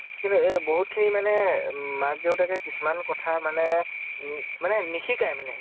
কিন্তু এ বহুত খিনি মানে মাক দেউতাকে কিছুমান কথা মানে উম মানে নিশিকায় মানে।